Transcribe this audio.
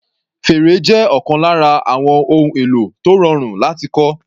Fèrè jẹ́ ọ̀kan lára àwọn ohun èlò tó rọrùn láti kọ́.